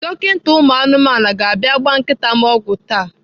Dọkita ụmụ anụmanụ ga-abịa ịgba nkịta m ọgwụ taa.